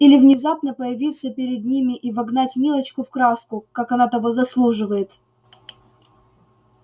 или внезапно появиться перед ними и вогнать милочку в краску как она того заслуживает